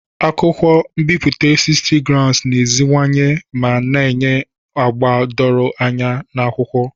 Akụkọ m'biputa 60gsm na-emeziwanye ma na-enye agba doro anya na akwụkwọ.